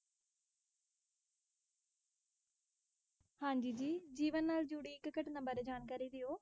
ਹਾਂਜੀ, ਜੀ ਜੀਵਨ ਨਾਲ ਜੁੜੀ ਇੱਕ ਘਟਨਾ ਬਾਰੇ ਜਾਣਕਾਰੀ ਦਿਓ।